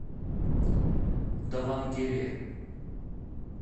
давангере